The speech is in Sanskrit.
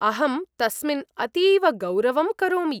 अहं तस्मिन् अतीव गौरवं करोमि।